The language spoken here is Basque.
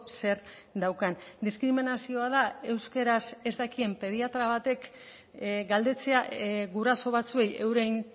zer daukan diskriminazioa da euskaraz ez dakien pediatra batek galdetzea guraso batzuei euren